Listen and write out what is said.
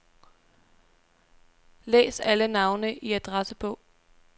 Læs alle navne i adressebog.